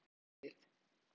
Ríkið gefi engin grið.